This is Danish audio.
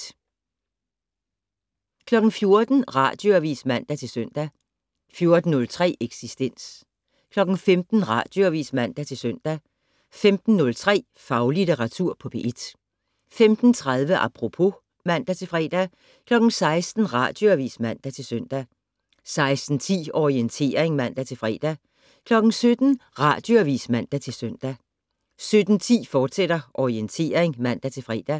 13:03: P1 Drømmer (1:3) 14:00: Radioavis (man-søn) 14:03: Eksistens 15:00: Radioavis (man-søn) 15:03: Faglitteratur på P1 15:30: Apropos (man-fre) 16:00: Radioavis (man-søn) 16:10: Orientering (man-fre) 17:00: Radioavis (man-søn) 17:10: Orientering, fortsat (man-fre)